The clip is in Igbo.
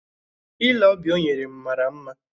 Ile ọbịa o nyere m mara mma